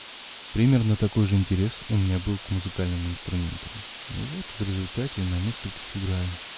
примерно такой же интерес у меня был к музыкальным инструментам и вот в результате на нескольких играю